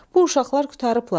Bu uşaqlar qurtarıblar.